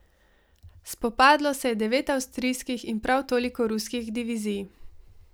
Spopadlo se je devet avstrijskih in prav toliko ruskih divizij.